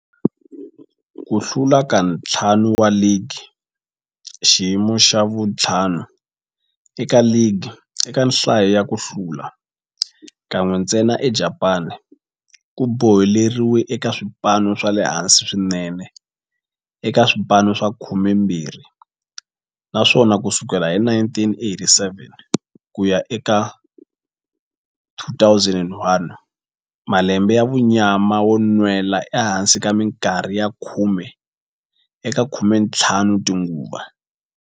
Ku hlula ka ntlhanu wa ligi, xiyimo xa vu-5 eka ligi eka nhlayo ya ku hlula, kan'we ntsena eJapani, ku boheleriwile eka swipano swa le hansi swinene eka swipano swa 12, naswona ku sukela hi 1987 ku ya eka 2001, malembe ya munyama yo nwela ehansi minkarhi ya khume eka 15 tinguva.